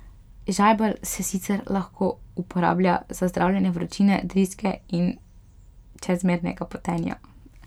Žajbelj se sicer lahko uporablja za zdravljenje vročine, driske in čezmernega potenja.